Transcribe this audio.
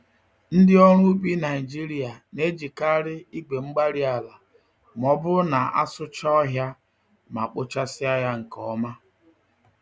Ndị ọrụ ubi Nigeria na-ejikarị igwe-mgbárí-ala m'ọbụrụ na asụchaa ọhịa ma kpochasịa ya nke ọma